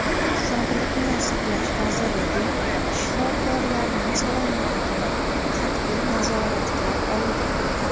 Sog‘liqni saqlash vazirligi shifokorlarning salomatligini qat’iy nazoratga olgan.